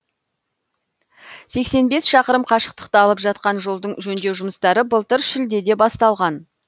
сексен бес шақырым қашықтықты алып жатқан жолдың жөндеу жұмыстары былтыр шілдеде басталған